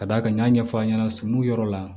Ka d'a kan n y'a fɔ aw ɲɛna suw yɔrɔ la